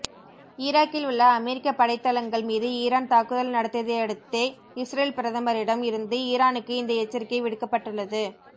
ஈராக்கில் உள்ள அமெரிக்கப் படைத்தளங்கள் மீது ஈரான் தாக்குதல் நடத்தியதையடுத்தே இஸ்ரேல் பிரதமரிடம் இருந்து ஈரானுக்கு இந்த எச்சரிக்கை விடுக்கப்பட்டுள்ளது